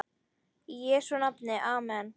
Í Jesú nafni amen.